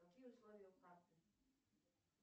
какие условия карты